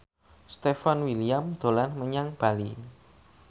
Stefan William dolan menyang Bali